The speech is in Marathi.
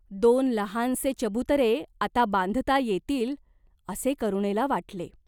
दोन लहानसे चबुतरे आता बांधता येतील, असे करुणेला वाटले.